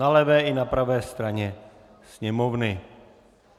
Na levé i na pravé straně sněmovny.